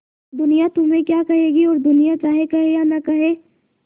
दुनिया तुम्हें क्या कहेगी और दुनिया चाहे कहे या न कहे